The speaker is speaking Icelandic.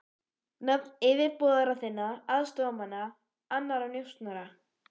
Nöfn yfirboðara þinna, aðstoðarmanna, annarra njósnara.